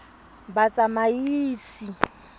batsamaisi